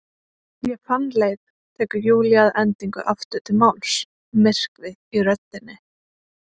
Ég fann leið, tekur Júlía að endingu aftur til máls, myrkvi í röddinni.